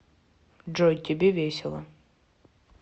джой тебе весело